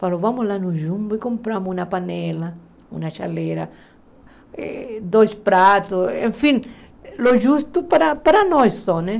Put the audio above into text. Falou, vamos lá no jumbo e compramos uma panela, uma chaleira, eh dois pratos, enfim, o justo para para nós só, né?